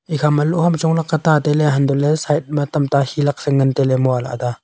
ekha ma loh ham chong lakka ta tailey huntoh ley side ma tam ta he laksa ngan tailey mua ley ada a.